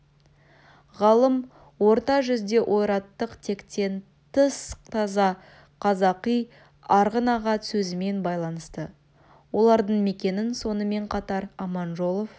ғалым орта жүзде ойраттық тектен тыс таза қазақы арғын-аға сөзімен байланысты олардың мекенін сонымен қатар аманжолов